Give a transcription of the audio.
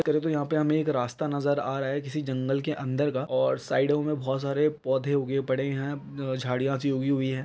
करे तो यहाँ पर हमें एक रास्ता नज़र आ रहा है किसी जंगल के अंदर का और साइडो में बहुत सारे पौधे उगे पड़े है झाड़िया सी उगी हुई है।